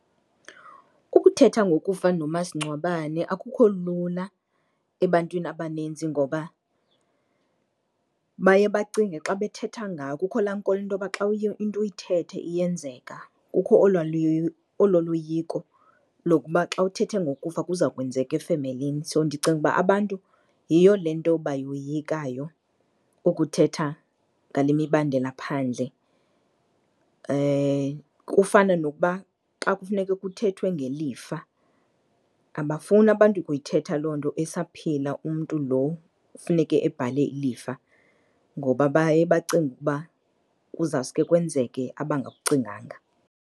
Ukuthetha ngokufa nomasingcwabane akukho lula ebantwini abaninzi ngoba baye bacinge xa bethetha ngako, kukho laa nkolo intoba xa uye into uyithethe iyenzeka, kukho olwaa loyiko lokuba xa uthethe ngokufa kuza kwenzeka efemelini. So ndicinga uba abantu yiyo le nto bayoyikayo ukuthetha ngale mibandela phandle. Kufana nokuba xa kufuneke kuthethwe ngelifa, abafuni abantu ukuyithetha loo nto esaphila umntu lo kufuneke ebhale ilifa ngoba baye bacinge ukuba kuzawuske kwenzeke abangakucinganga.